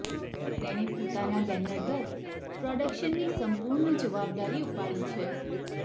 તેણે પોતાના બેનર દત્ત પ્રોડક્શનની સંપૂર્ણ જવાબદારી ઉપાડી છે